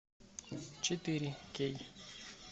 четыре кей